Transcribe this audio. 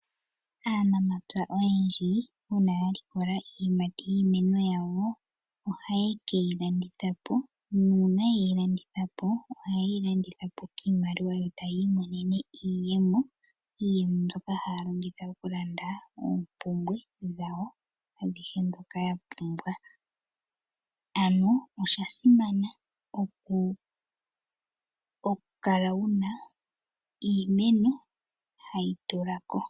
Aanamapya oyendji una ya likola iiyimati yiimeno yawo ohaye keyi landitha po, una yeyi landitha po ohaye yi landitha po kiimaliwa yo ta yi iimonenemo iiyemo, iiyemo mbyoka haya longitha okulanda oompumbwe dhawo adhihe dhoka yapumbwa, ano osha simana okukala wuna iimmeno hayi tula ko.